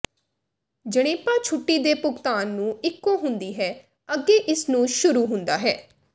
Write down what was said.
ਜਣੇਪਾ ਛੁੱਟੀ ਦੇ ਭੁਗਤਾਨ ਨੂੰ ਇੱਕੋ ਹੁੰਦੀ ਹੈ ਅੱਗੇ ਇਸ ਨੂੰ ਸ਼ੁਰੂ ਹੁੰਦਾ ਹੈ